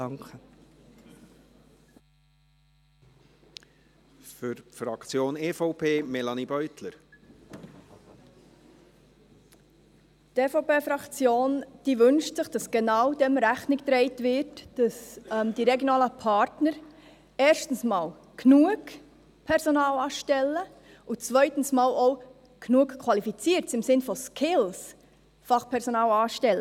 Die EVP-Fraktion wünscht sich, dass genau dem Rechnung getragen wird, dass die regionalen Partner erstens einmal genug Personal anstellen und zweitens auch genügend qualifiziertes Fachpersonal – im Sinn von Skills – anstellen.